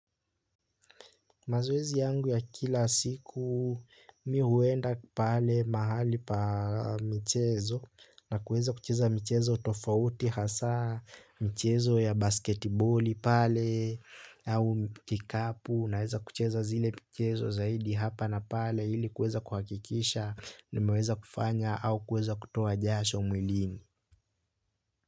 Mazoezi yangu ya kila siku mi huenda pale mahali pa michezo na kuweza kucheza michezo tofauti hasa michezo ya basketiboli pale au kikapu naweza kucheza zile michezo zaidi hapa na pale ili kuweza kuhakikisha nimeweza kufanya au kuweza kutoa jasho mwilini.